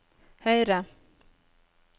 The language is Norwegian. høyre